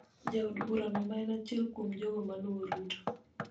Jaod burano, ma en achiel kuom jogo ma luwo Ruto,